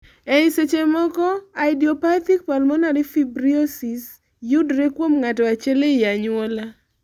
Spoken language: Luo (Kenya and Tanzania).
ei seche moko, idiopathic pulmonary fibrosis yudore kuom ng'ato achiel ei anyuola